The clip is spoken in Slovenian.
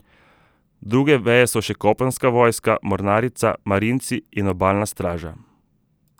Druge veje so še kopenska vojska, mornarica, marinci in obalna straža.